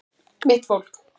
Mitt fólk